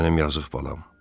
Mənim yazıq balam.